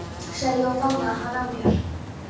sagði ég og faðmaði hann að mér.